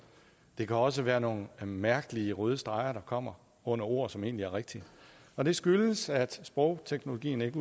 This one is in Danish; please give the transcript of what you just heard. det kan også være nogle mærkelige røde streger der kommer under ord som egentlig er rigtige og det skyldes at sprogteknologien ikke